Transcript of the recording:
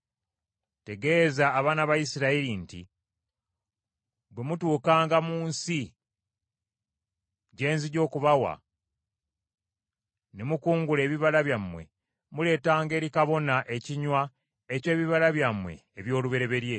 “Tegeeza abaana ba Isirayiri nti, Bwe mutuukanga mu nsi gye nzija okubawa ne mukungula ebibala byamu, muleetanga eri kabona ekinywa eky’ebibala byammwe eby’olubereberye;